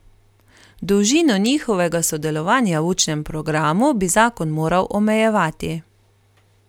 Dolžino njihovega sodelovanja v učnem programu bi zakon moral omejevati.